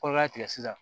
Kɔlɔla tigɛ sisan